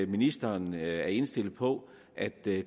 ministeren er indstillet på at det